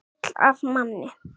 Gull af manni.